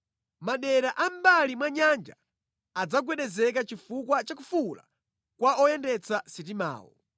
Madera a mʼmbali mwa nyanja adzagwedezeka chifukwa cha kufuwula kwa oyendetsa sitimawo.